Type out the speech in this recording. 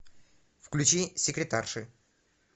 включи секретарши